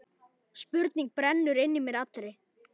Spurning brennur inn í mér allri.